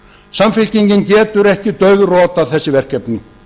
samfylkingin getur ekki dauðrotað þessi verkefni